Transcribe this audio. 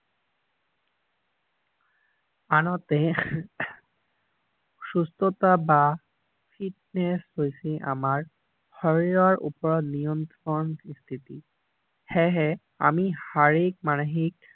আনহাতে সুস্থতা বা ফিত্নেচ হৈছে আমাৰ শাৰীৰৰ ওপৰত নিয়ন্ত্ৰণ স্থিতি সেইহে আমি শাৰীৰিক মানসিক